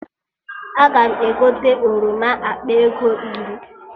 Aga m egote oroma akpa ego iri